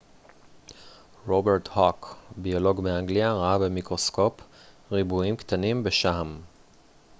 רוברט הוק ביולוג מאנגליה ראה במיקרוסקופ ריבועים קטנים בשעם